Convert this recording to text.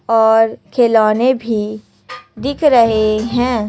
और खिलौने भी दिख रहे हैं।